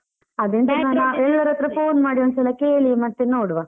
ಎಲ್ಲರತ್ರ phone ಮಾಡಿ ಒಂದ್ಸಲ ಕೇಳಿ ಮತ್ತೆ ನೋಡುವ.